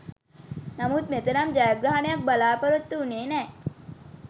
නමුත් මෙතරම් ජයග්‍රහණයක් බලා‍පොරොත්තු වුණේ නෑ.